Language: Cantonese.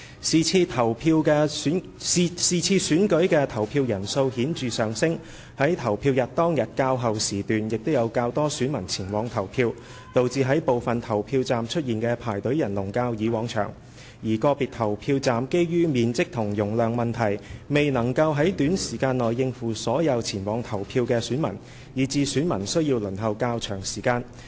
是次選舉的投票人數顯著上升，在投票日當天較後時段亦有較多選民前往投票，導致在部分投票站出現的排隊人龍較以往長，而個別投票站基於面積和容量問題，未能於短時間內應付所有前往投票的選民，以致選民需要輪候較長時間。